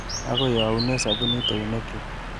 Akoi aune sabunit eunekchu.